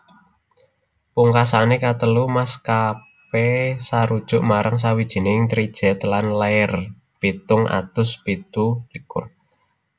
Pungkasané katelu maskapé sarujuk marang sawijining trijet lan lair pitung atus pitu likur